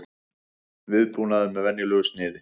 Viðbúnaður með venjulegu sniði